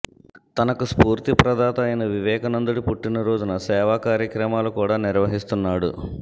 తనకు స్ఫూర్తి ప్రధాత అయిన వివేకానందుడి పుట్టిన రోజున సేవాకార్యక్రమాలు కూడా నిర్వహిస్తున్నాడు